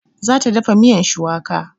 Za ta dafa miyan shuwaka